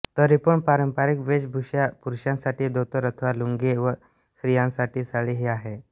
तरीपण पारंपारिक वेषभूषा पुरुषांसाठी धोतर अथवा लुंगी व स्रियांसाठी साडी हे आहे